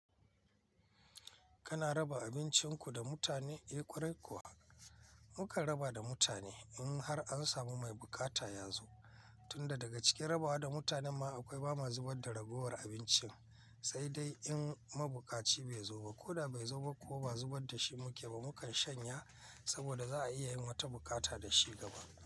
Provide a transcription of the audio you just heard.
Kana raba abincin ku da mutane? Eh kwarai kuwa muka raba da mutane in har an samu mai bukata ya zo, tunda daga cikin rabawa da mutanen ma akwai bama zubar da ragowar abincin, sai dai in mabukaci bai zo ba, ko da bai zo ba ko ba zubar da shi mu ke ba, mukan shanya saboda za a iya yin wata bukata da shi gaba.